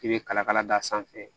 I bɛ kala kala d'a sanfɛ